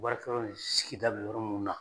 Baarakɛyɔrɔ ni sigida bɛ yɔrɔ minnu na.